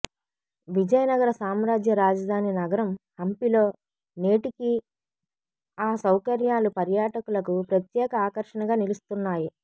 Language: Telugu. విజయనగర సామ్రాజ్య రాజధాని నగరం హంపిలో నేటికీ ఆ సౌకర్యాలు పర్యాటకులకు ప్రత్యేక ఆకర్షణగా నిలుస్తున్నాయి